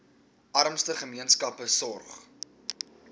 armste gemeenskappe sorg